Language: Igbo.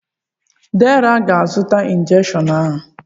Deraa aga-azụta injekshiọn ahụ?